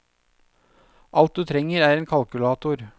Alt du trenger er en kalkulator.